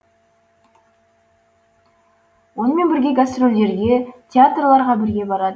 онымен бірге гастрольдерге театрларға бірге барады